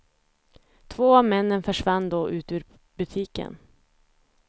Två av männen försvann då ut ur butiken.